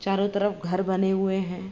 चारों तरफ घर बने हुए हैं।